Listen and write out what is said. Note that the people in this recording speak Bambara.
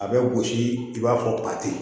A bɛ gosi i b'a fɔ ba tɛ yen